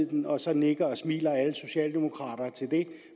den og så nikker og smiler alle socialdemokrater til det